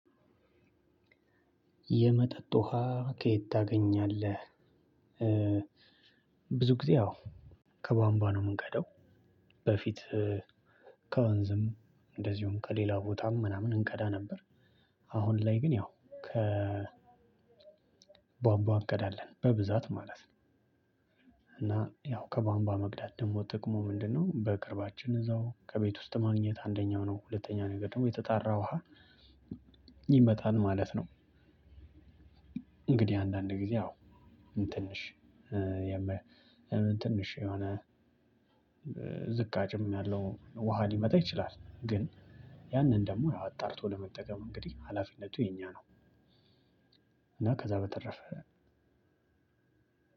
የመጠጥ ውሃ ከየት? ታገኛለህ እ ብዙ ጊዜ ያው ከቧንቧ ነው እምንቀዳው በፊት ከወንዝም እንደዚሁም ከሌላ ቦታም ምናምን እንቀዳ ነበር። አሁን ላይ ግን ያው ከ ቧንቧ አንቀዳለን በብዛት ማለት ነው። እና ያው ከባንባ መቅዳት ደግሞ ጥቅሙ ምንድነው? በቅርባችን እዛው ከቤት ውስጥ ማግኘት አንደኛው ነው። ሁለተኛ ነገር ደግሞ የተጣራ ውሃ ይመጣል ማለት ነው። እንግዲህ አንዳንድ ጊዜ ያው ትንሽ ትንሽ የሆነ ዝቅአጭም ያለው ውሃ ሊመጣ ይችላል ግን ያንን ደግሞ አጣርቶ ለመጠቀም እንግዲህ ሀላፊነቱ የኛ ነው። እና ከዛ በተረፈ